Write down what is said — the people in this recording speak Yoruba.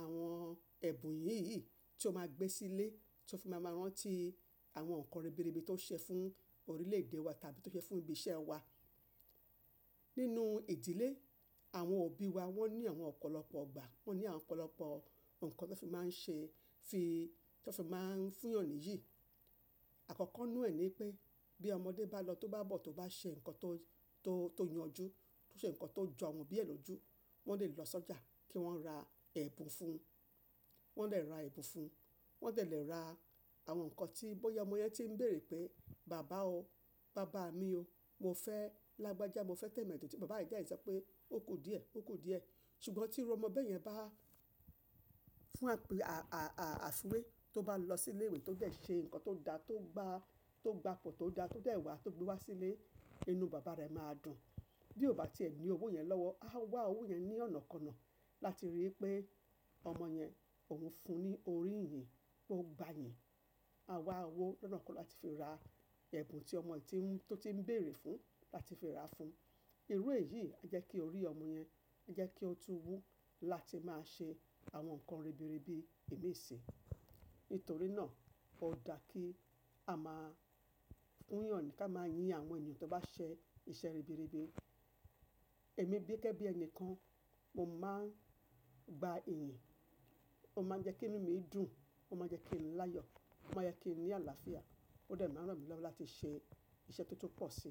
àwọn ẹ̀bùn yìí yìí tí ó máa gbé sílé tí ó fi máa mọ rán tí àwọn nǹkan ribiribi tó ṣe fún orílè-èdè wa tàbí tó ṣe fún ibi iṣẹ́ wa. Nínú ìdílé, àwọn òbí wa wọ́n ní àwọn ọ̀pọ̀lọpọ̀ gbà, wọ́n ní àwọn ọ̀pọ̀lọpọ̀ nǹkan tí wọ́n fi máa ń ṣe, fi, tí wọ́n fi máa ń fún èèyàn níyìn. Àkọ́kọ́ nù ẹ ní pé bí ọmọdé bá lọ tó bá bọ̀ tó bá ṣe nǹkan tó, tó, tó yanju, tó ṣe nǹkan tó jọ àwọn òbí ẹ lójú, wọ́n lè lọ sọ́jà kí wọ́n ra ẹ̀bùn fún un. Wọ́n dẹ̀ ra ẹ̀bùn fún un. Wọ́n dẹ̀ lè ra àwọn nǹkan tí bóyá ọmọ yẹn tí ń béèrè pé, "bàbá o, bàbá mi o, mo fẹ́ lágbájá mo fẹ́ tẹ̀mẹ́dò" tí bàbá ẹ̀ dẹ̀ sọ pé ó kù díẹ̀, ó kù díẹ̀. Ṣùgbọ́n tí irú ọmọ bẹ́ẹ̀ yẹn bá fún àfúwé tó bá lọ sílé ìwé tó dẹ́ẹ̀ ṣe nǹkan tó dá tó gba, tó gba ipò tó dá tó dẹ́ẹ̀ wà tó gbé wá sílé, inú bàbá rẹ̀ máa dùn. Bí ó bá ti ẹ ní owó yẹn lọ́wọ́, a wá owó yẹn ní ọ̀nàkọnà láti rí i pé ọmọ yẹn òun fún un ní orí ìyìn, ó gba ìyìn. A wá owó lọ́nà kan láti fi ra ẹ̀bùn tí ọmọ tí ń, tó ti ń béèrè fún láti fi ra fún un. Irú èyí jẹ́ kí orí ọmọ yẹn, jẹ́ kí ó tó wú láti máa ṣe àwọn nǹkan ribiribi imí ṣí. Nítorí náà, ó dáa kí a máa fún èèyàn ni ká máa yin àwọn èèyàn tó bá ṣe iṣẹ́ ribiribi. Èmi gẹ́gẹ́ bí ẹni kan, mo máa ń gba ìyìn. Ó máa ń jẹ́ kí inú mi dùn, ó máa ń jẹ́ kí n láyọ̀, ó máa ń jẹ́ kí n ní àlàáfíà. Ó dẹ̀ máa ràn mí lọ́wọ́ láti ṣe iṣẹ́ tó tún pọ̀ si.